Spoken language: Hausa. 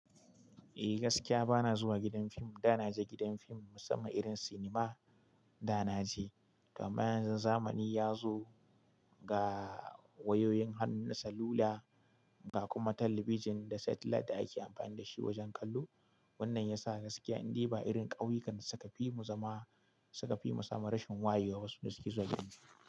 Eh gaskiya bana zuwa gidan fim ɗa na je gidan fim musamman irin sinima ɗa na je. To amma yanzun zamani ya zo ga wayoyin hannu na salula ga kuma talabijin da satilaite ake amfani da shi wajen kallo. Wannan ya sa gaskiya indai ba irin ƙauyukan da suka fi mu zama suka fi mu samu rashin wayyewa wasu masu zuwa gidan fim.